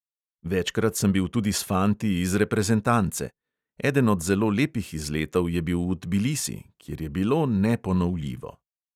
Večkrat sem bil tudi s fanti iz reprezentance; eden od zelo lepih izletov je bil v tbilisi, kjer je bilo neponovljivo.